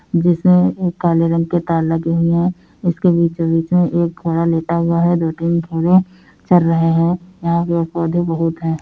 जिसमें काले रंग के तार लगे हुए हैं। इसके बीचो-बिच में एक घोड़ा लेटा हुआ है दो तीन घोड़े चर रहे हैं। यहाँ पेड़ पोधे बहुत है।